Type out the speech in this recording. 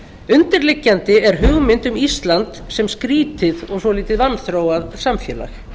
undirliggjandi er hugmynd um ísland sem skrýtið og vanþróað samfélag